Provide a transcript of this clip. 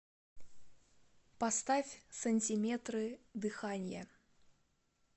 поставь сантиметры дыханья